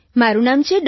મારું નામ છે ડૉ